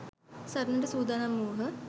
සටනට සූදානම් වූහ.